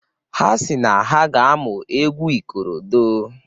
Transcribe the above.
Ha sị na ha ga-amụ egwu ikorodo.